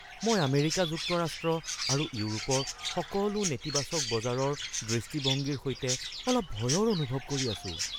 মই আমেৰিকা যুক্তৰাষ্ট্ৰ আৰু ইউৰোপৰ সকলো নেতিবাচক বজাৰৰ দৃষ্টিভংগীৰ সৈতে অলপ ভয়ৰ অনুভৱ কৰি আছো।